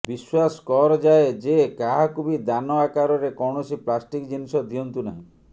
ବିଶ୍ୱାସ କରଯାଏ ଯେ କାହାକୁ ବି ଦାନ ଆକରରେ କୌଣସି ପ୍ଲାଷ୍ଟିକ୍ ଜିନିଷ ଦିଅନ୍ତୁ ନାହିଁ